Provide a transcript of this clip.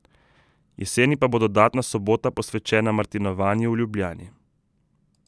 Jeseni pa bo dodatna sobota posvečena Martinovanju v Ljubljani.